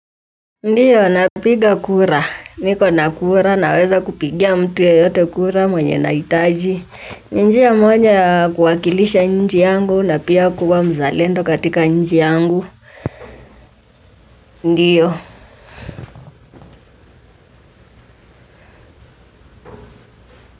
Ndio, napiga kura, niko na kura, naweza kupigia mtu yoyote kura mwenye nahitaji. Ni moja ya kuwakilisha nchi yangu na pia kuwa mzalendo katika nchi yangu. Ndio.